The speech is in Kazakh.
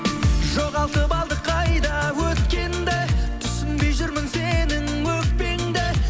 жоғалтып алдық қайда өткенді түсінбей жүрмін сенің өкпеңді